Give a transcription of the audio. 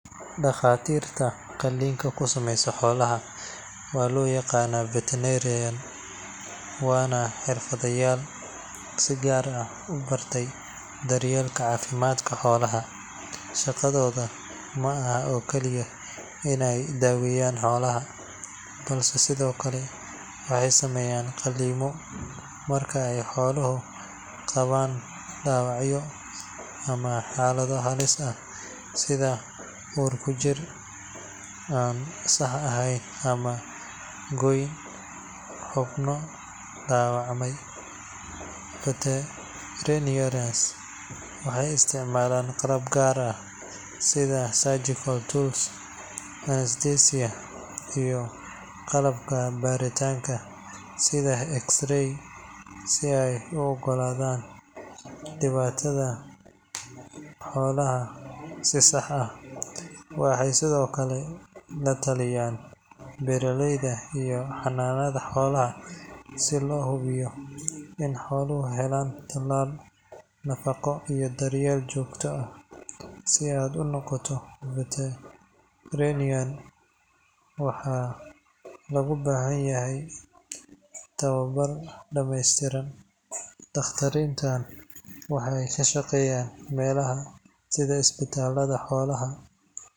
Dhakhaatiirta qalliinka ku sameeya xoolaha waxaa loo yaqaannaa veterinarians, waana xirfadlayaal si gaar ah u bartay daryeelka caafimaadka xoolaha. Shaqadooda ma aha oo keliya inay daaweyaan xoolaha, balse sidoo kale waxay sameeyaan qalliimo marka ay xooluhu qabaan dhaawacyo ama xaalado halis ah sida uur-ku-jir aan sax ahayn ama gooyn xubno dhaawacmay. Veterinarians waxay isticmaalaan qalab gaar ah sida surgical tools, anesthesia, iyo qalabka baaritaanka sida X-ray si ay u ogaadaan dhibaatada xoolaha si sax ah. Waxay sidoo kale la taliyaan beeraleyda iyo xanaanada xoolaha si loo hubiyo in xooluhu helaan tallaal, nafaqo, iyo daryeel joogto ah. Si aad u noqoto veterinarian, waxaa lagu baahan yahay inaad barato ugu yaraan five to six years jaamacad caafimaadka xoolaha ah, adigoo helaya tababar dhameystiran. Dhakhaatiirtan waxay ka shaqeeyaan meelaha sida isbitaallada xoolaha.